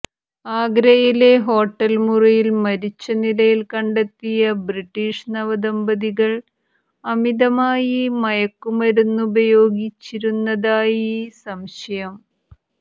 ആഗ്രയിലെ hotel മുറിയിൽ മരിച്ച നിലയിൽ കണ്ടെത്തിയ ബ്രിട്ടീഷ് നവദമ്പതികൾ അമിതമായി മയക്കുമരുന്നുപയോഗിച്ചിരുന്നതായി സംശയം